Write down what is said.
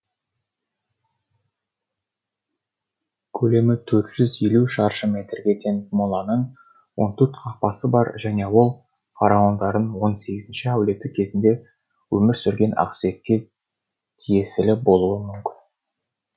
көлемі төрт жүз елу шаршы метрге тең моланың он сегіз қақпасы бар және де ол фараондардың он сегізінші әулеті кезінде өмір сүрген ақсүйекке тиесілі болуы мүмкін